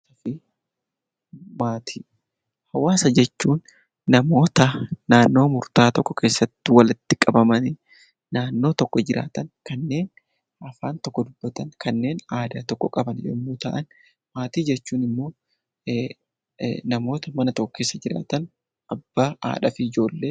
Hawaasa jechuun namoota naannoo murtaa'aa tokko keessatti walitti qabamanii naannoo tokko jiraatan kanneen afaan tokko dubbatan, aadaa tokko qaban yommuu ta'an, maatii jechuun immoo namoota mana tokko keessa jiraatan abbaa, haadhaa fi ijoolleedha.